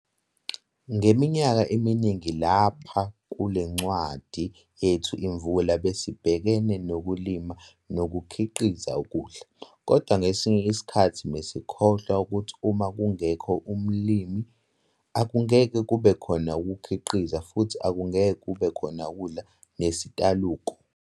Ngeminyaka eminingi lapha kule ncwadi yethu Imvula besibhekene nokulima nokukhiqiza ukudla, kodwa ngesinye isikhathi besikhohlwa ukuthi uma kungekho umlimi, akungeke kubekhona ukukhiqiza futhi akungeke kube khona ukudla nesitaluko.